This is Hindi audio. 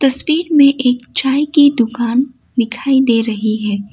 स्पीड में एक चाय की दुकान दिखाई दे रही है।